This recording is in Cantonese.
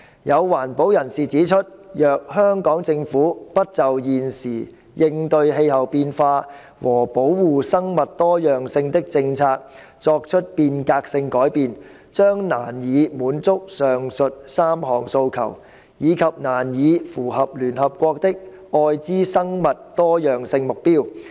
有環保人士指出，若香港政府不就現時應對氣候變化和保護生物多樣性的政策作出變革性改變，將難以滿足上述3項訴求，以及難以符合聯合國的《愛知生物多樣性目標》。